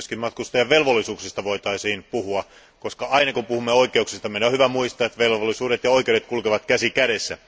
Myös matkustajien velvollisuuksista voitaisiin puhua, koska aina kun puhumme oikeuksista, meidän on hyvä muistaa, että velvollisuudet ja oikeudet kulkevat käsi kädessä.